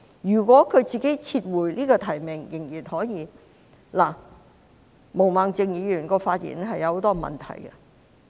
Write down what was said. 如果她自己撤回提名仍然可以。"毛孟靜議員的發言有很多問題。